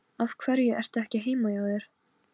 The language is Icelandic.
Súlamít, hvað er lengi opið í Brynju?